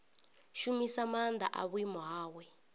shumisa maanḓa a vhuimo hawe